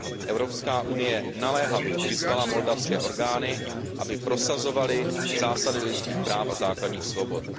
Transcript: EU naléhavě vyzvala moldavské orgány, aby prosazovaly zásady lidských práv a základních svobod.